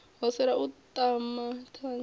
ho sala u aṱama thunzi